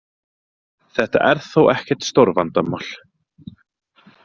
Þetta er þó ekkert stórvandamál